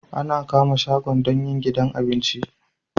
Ana kama shago don yin gidan abinci